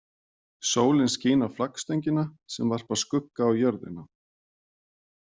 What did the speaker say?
Sólin skín á flaggstöngina sem varpar skugga á jörðina.